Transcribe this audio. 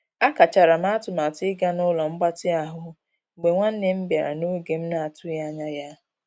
A kachara m atụmatụ ịga n'ụlo mgbatị ahụ mgbe nwanne m bịara n'oge m na- atụghị anya ya.